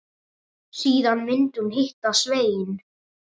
Síðan myndi hún hitta Svein.